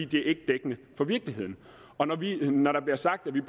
det er ikke dækkende for virkeligheden når der bliver sagt at vi